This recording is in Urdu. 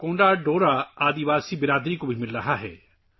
کونڈا ڈورا قبائلی برادری کو بھی اس سے کافی فائدہ ہوا ہے